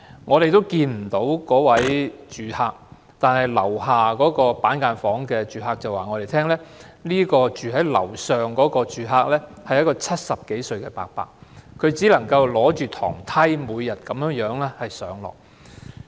我們看不到該名住客，但"樓下"板間房住客對我們說"樓上"的住客是一位70多歲的伯伯，他每天只靠一把樓梯上落房間。